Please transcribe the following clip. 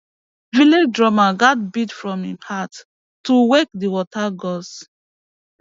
village drummer gats beat from him heart to wake the water gods